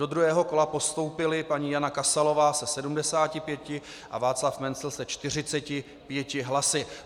Do druhého kola postoupili paní Jana Kasalová se 75 a Václav Mencl se 45 hlasy.